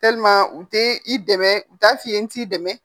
u tɛ i dɛmɛ u t'a f'i ye n k'i dɛmɛ